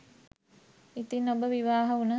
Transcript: ඉතින් ඔබ විවාහ වුන